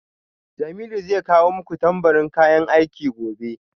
Jamiu zai kawo muku tambarin kayan aiki gobe